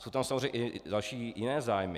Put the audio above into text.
Jsou tam samozřejmě i další, jiné zájmy.